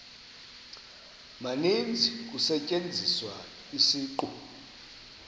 maninzi kusetyenziswa isiqu